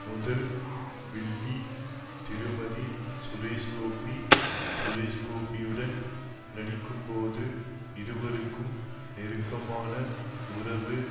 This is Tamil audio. முதல் வில்லி திருமதி சுரேஷ்கோபி சுரேஷ்கோபியுடன் நடிக்கும்போது இருவருக்கும் நெருக்கமான உறவு